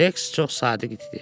Reks çox sadiq idi.